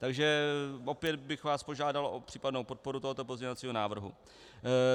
Takže opět bych vás požádal o případnou podporu tohoto pozměňovacího návrhu.